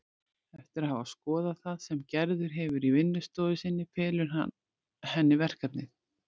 Eftir að hafa skoðað það sem Gerður hefur í vinnustofu sinni felur hann henni verkefnið.